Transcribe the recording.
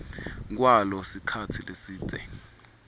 kwalo sikhatsi lesidze